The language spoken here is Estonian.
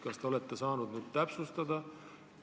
Kas te olete nüüd saanud asjaolusid täpsustada?